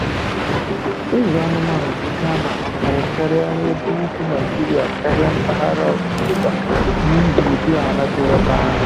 Ịzụ anụmanụ bụ ihe a na-ahụkarị karịa na n'ebe ugwu Naịjirịa karịa mpaghara ndịda, n’ihi ụdị ala dị ebe ahụ.